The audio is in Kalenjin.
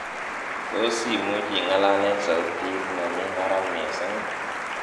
tos imuch ing'alal en sautit nemi barak missing ii